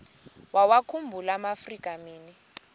wawakhumbul amaafrika mini